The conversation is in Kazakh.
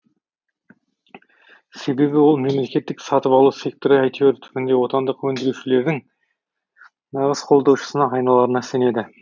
себебі ол мемлекеттік сатып алу секторы әйтеуір түбінде отандық өндірушілердің нағыз қолдаушысына айналарына сенеді